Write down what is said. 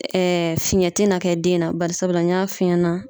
fiɲɛ te na kɛ den na, barisabula n y'a f'i ɲɛna